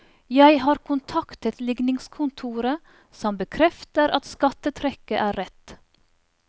Jeg har kontaktet ligningskontoret, som bekrefter at skattetrekket er rett.